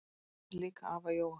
Hann átti líka afa Jóa.